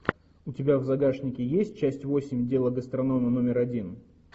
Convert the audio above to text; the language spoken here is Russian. у тебя в загашнике есть часть восемь дело гастронома номер один